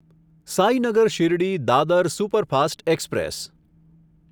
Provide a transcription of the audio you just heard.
Sainagar Shirdi Dadar superfast express